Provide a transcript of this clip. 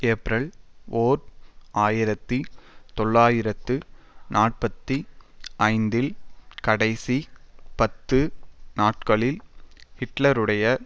April ஓர் ஆயிரத்தி தொள்ளாயிரத்து நாற்பத்தி ஐந்தில் கடைசி பத்து நாட்களில் ஹிட்லருடைய